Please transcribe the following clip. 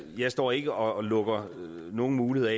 jeg står ikke og lukker nogen muligheder